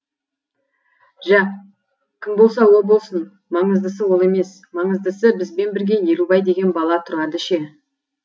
жә кім болса о болсын маңыздысы ол емес маңыздысы бізбен бірге елубай деген бала тұрады ше